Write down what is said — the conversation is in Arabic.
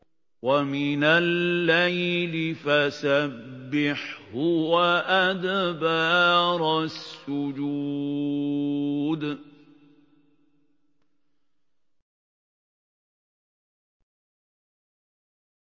وَمِنَ اللَّيْلِ فَسَبِّحْهُ وَأَدْبَارَ السُّجُودِ